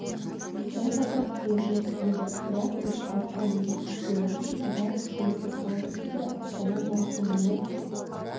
бірқатар қиыншылық болды бірақ біз халыққа мереке сыйлау үшін бар күшімізді салдық дейді астана марафонының